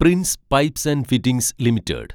Prince Pipes and Fittings limited